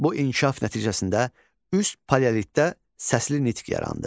Bu inkişaf nəticəsində üst paleolitdə səsli nitq yarandı.